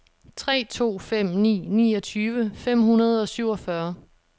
tre to fem ni niogtyve fem hundrede og syvogfyrre